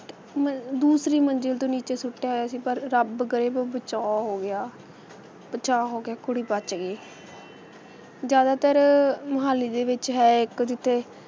ਮਨ~ ਦੂਸਰੀ ਮੰਜ਼ਿਲ ਤੋਂ ਨੀਚੇ ਸੁੱਟਿਆ ਹੋਇਆ ਸੀ ਪਰ ਰੱਬ ਕਰੇ ਬਚਾਅ ਹੋ ਗਿਆ ਬਚਾਅ ਹੋ ਗਿਆ, ਕੁੜੀ ਬੱਚ ਗਈ, ਜ਼ਿਆਦਾਤਰ ਮੋਹਾਲੀ ਦੇ ਵਿੱਚ ਹੈ, ਇੱਕ ਜਿੱਥੇ